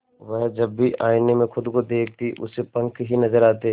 वह जब भी आईने में खुद को देखती उसे पंख ही नजर आते